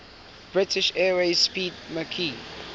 british airways 'speedmarque